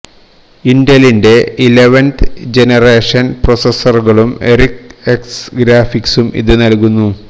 ഇന്റലിന്റെ eleventh generation പ്രോസസ്സറുകളും Iris X ഗ്രാഫിക്സും ഇത് നൽകുന്നു